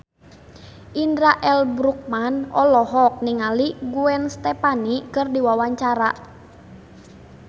Indra L. Bruggman olohok ningali Gwen Stefani keur diwawancara